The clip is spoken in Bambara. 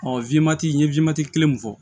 n ye kelen mun fɔ